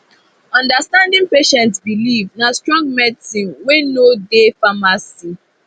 understanding patient belief na strong medicine wey no dey pharmacy